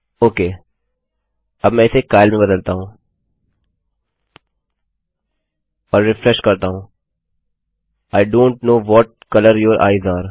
okay अब मैं इसे काइल में बदलता हूँ और रिफ्रेश करता हूँ I don't know what colour your eyes are